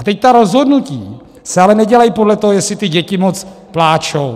A teď ta rozhodnutí se ale nedělají podle toho, jestli ty děti moc pláčou.